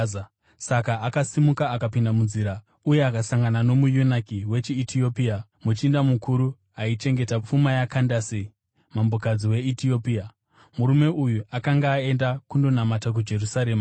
Saka akasimuka akapinda munzira uye akasangana nomuyunaki wechiEtiopia, muchinda mukuru aichengeta pfuma yaKandase, mambokadzi weEtiopia. Murume uyu akanga aenda kundonamata kuJerusarema,